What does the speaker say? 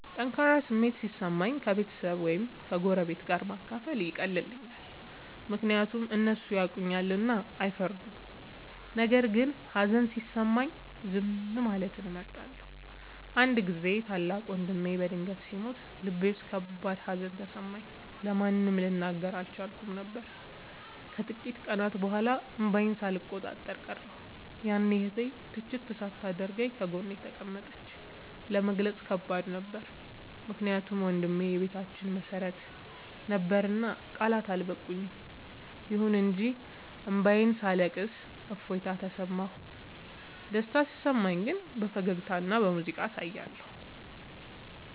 ጠንካራ ስሜት ሲሰማኝ ከቤተሰብ ወይም ከጎረቤት ጋር ማካፈል ይቀላል፤ ምክንያቱም እነሱ ያውቁኛልና አይፈርዱም። ነገር ግን ሀዘን ሲሰማኝ ዝም ማለትን እመርጣለሁ። አንድ ጊዜ ታላቅ ወንድሜ በድንገት ሲሞት ልቤ ውስጥ ከባድ ሀዘን ተሰማኝ፤ ለማንም ልናገር አልቻልኩም ነበር። ከጥቂት ቀናት በኋላ እንባዬን ሳልቆጣጠር ቀረሁ፤ ያኔ እህቴ ትችት ሳታደርግ ጎኔ ተቀመጠች። ለመግለጽ ከባድ ነበር ምክንያቱም ወንድሜ የቤታችን መሰረት ነበርና ቃላት አልበቁም። ይሁን እንጂ እንባዬን ሳለቅስ እፎይታ ተሰማሁ። ደስታ ሲሰማኝ ግን በፈገግታና በሙዚቃ አሳያለሁ።